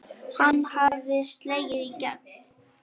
Hann hafði slegið í gegn.